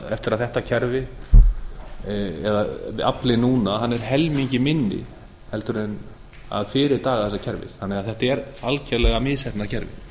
eftir að þetta kerfi eða aflinn núna er helmingi minni heldur en fyrir daga þessa kerfis þannig að þetta er algerlega misheppnað kerfi